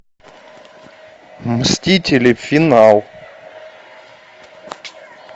мстители финал